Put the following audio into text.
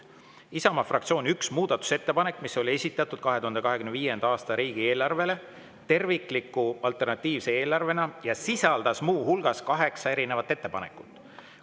"Isamaa fraktsiooni 1 muudatusettepanek, mis oli esitatud 2025. aasta riigieelarvele tervikliku alternatiivse eelarvena ja sisaldas muuhulgas 8 erinevat ettepanekut.